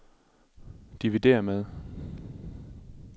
dividér med